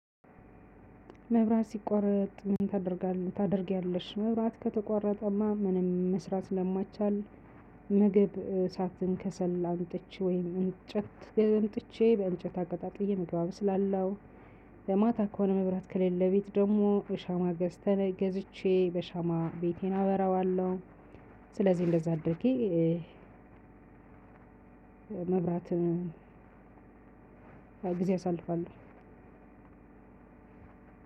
መብራት ሲቋረጥ ምን ታደርጋለህ ታደርጊያለሽ? መብራት ከተቋረጠማ ምንም መስራት ስለማይቻል ምግብ እሳትን ከሰል አምጥቼ ወይም እምጨት አምጥቼ በእምጬት አቀጣጥዬ ምግብ አበስላለሁ። ለማታ ከሆነ መብራት ከሌለ ቤት ደግሞ እሻማ ገዝቼ በሻማ ቤቴን አበራዋለሁ። ስለዚህ እንደዛ አድርጌ መብራትም ጊዜ አሳልፋለሁ